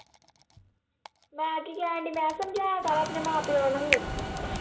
ਮੈਂ ਕੀ ਕਹਿਣਡੀ ਮੈਂ ਕਿਹਾ ਸਮਝਾਇਆ ਕਰ ਆਪਣੇ ਮਾਂ ਪਿਓ ਨੂੰ